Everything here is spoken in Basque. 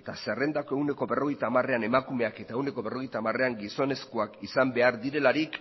eta zerrendako ehuneko berrogeita hamarean emakumeak eta ehuneko berrogeita hamarean gizonezkoak izan behar direlarik